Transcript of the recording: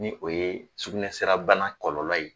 Ni o ye sugunɛ sira bana kɔlɔlɔ ye